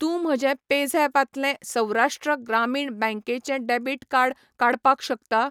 तूं म्हजें पेझॅप तलें सौराष्ट्र ग्रामीण बँक चें डेबिट कार्ड काडपाक शकता?